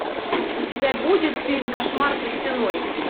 у тебя будет фильм кошмар за стеной